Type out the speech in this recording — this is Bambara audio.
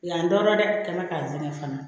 Yan tɔɔrɔ dɛ kɛ mɛ k'a kɛ fana